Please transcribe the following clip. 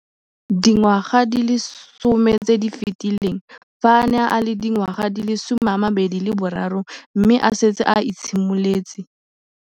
Dingwaga di le 10 tse di fetileng, fa a ne a le dingwaga di le 23 mme a setse a itshimoletse.